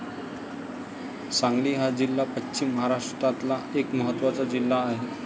सांगली हा जिल्हा पश्चिम महाराष्ट्रातला एक महत्वाचा जिल्हा आहे.